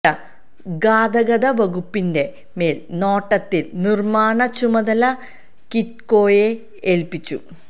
ഗാതഗത വകുപ്പിൻറെ മേൽ നോട്ടത്തിൽ നിര്മ്മാണ ചുമതല കിറ്റ്കോയെ ഏൽപ്പിച്ചു